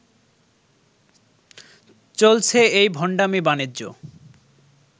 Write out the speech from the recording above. চলছে এই ভণ্ডামি বাণিজ্য